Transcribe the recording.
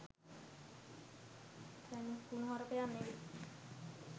කුනුහරුපයක් නෙවෙයි.